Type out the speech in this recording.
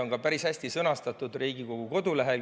Need on päris hästi sõnastatud ka Riigikogu kodulehel.